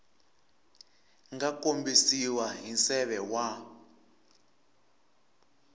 nga kombisiwa hi nseve wa